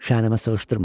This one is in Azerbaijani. Şənimə sığışdırmadım.